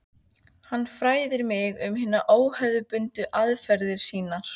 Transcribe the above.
Hann fræðir mig um hinar óhefðbundnu aðferðir sínar.